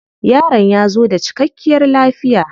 Yaron ya zo da cikkakiyar lafiya.